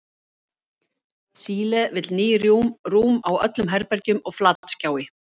Síle vill ný rúm á öllum herbergjum og flatskjái.